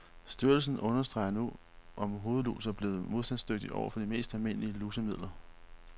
Styrelsen undersøger nu, om hovedlus er blevet modstandsdygtige over for de mest almindelige lusemidler.